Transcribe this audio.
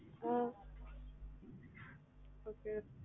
அஹ்